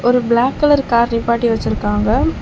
ஒரு black colour car நிப்பாட்டி வெச்சிருக்காங்க.